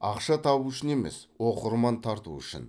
ақша табу үшін емес оқырман тарту үшін